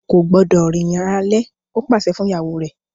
O kò gbúdọ̀ rìnrìn alẹ́! ó pàṣẹ fún ìyàwó rẹ̀.